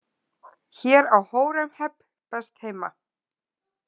Hér á Hóremheb best heima.